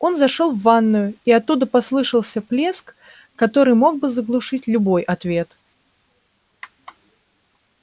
он зашёл в ванную и оттуда послышался плеск который мог бы заглушить любой ответ